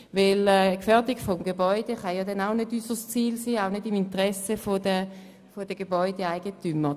Denn die Gefährdung von Gebäuden kann nicht unser Ziel sein und ist ebenso wenig im Interesse der Gebäudeeigentümer.